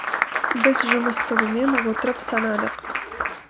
біз жұмыс тобымен отырып санадық